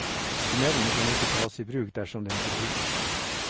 Tunnelen kan ikke tas i bruk dersom den ikke godkjennes.